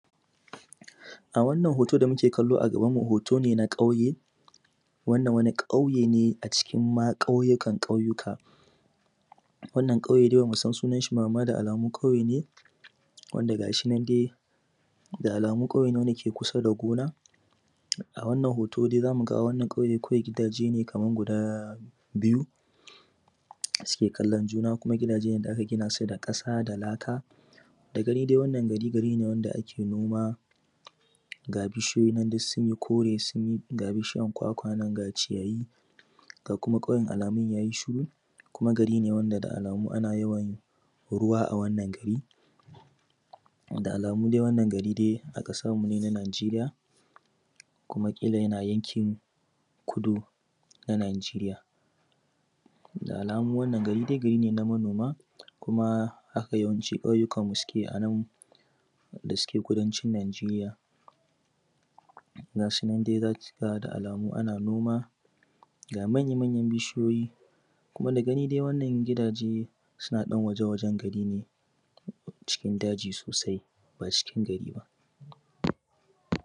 A wannan hooto da muke kallo a gabanmu hooto ne na ƙauye. Wannan wani ƙauye ne acikin ma ƙauyukan ƙauyuka, wannan ƙauye dai bamu san sunan shi ba, amma da alamu ƙauye ne wanda ga shi nan dai da alamu ƙauye ne wanda ke kusa da gona. A wannan hooto dai zamu ga a wannan ƙauye kawai gidaaje guda biyu suke kallon juna, kuma gidajene da aka gina su da ƙasa da laka. Da gani dai wannan gari gari ne wanda ake noma ga bishiyoyi nan duk sun yi kore sun yi ga bishiyan kwakwa nan ga ciyayi ga kuma ƙauyen alamun yayi shiru kuma gari ne wanda da alamu ana yawan ruwa a wannan gari, da alamu dai wannan gari dai a ƙasarmu ne na Najeriya kuma ƙila yana yankin kudu na Najiriya. Da alamu wannan gari gari ne na manoma, kuma haka yawaci ƙauyukanmu suke a nan da suke kudancin Najeriya, ga shinan za ka ga da alamu ana noma, ga manya manyan bishiyoyi kuma da gani dai wannan gidaaje suna ɗan waje-wajen gari ne, cikin dajii soosai baa cikin gari baa.